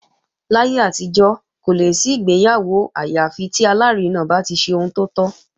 Láyé àtijọ́, kò lè sí ìgbéyàwó àyà fi tí alárinà bá ti ṣe ohun tó tọ́